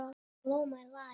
Ég elska líf mitt.